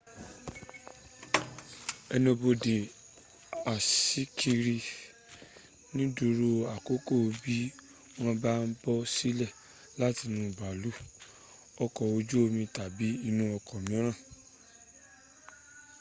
ẹnubodè aṣíkiri nìdúró àkọ́kọ́ bí wọ́n bá ń bọ́ sílẹ̀ látinú bàálù ọkọ̀ ojú omi tàbí inú ọkọ̀ míràn